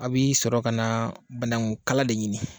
A bi sɔrɔ ka na banaku kala de ɲini.